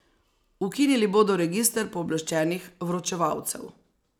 Ukinili bodo register pooblaščenih vročevalcev.